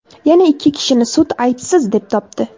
Yana ikki kishini sud aybsiz deb topdi.